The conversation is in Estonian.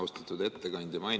Austatud ettekandja!